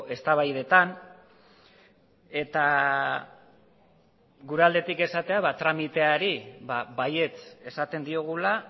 eztabaidetan eta gure aldetik esatea tramiteari baietz esaten diogula